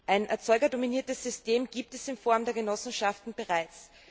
Ein erzeugerdominiertes System gibt es in Form der Genossenschaften bereits.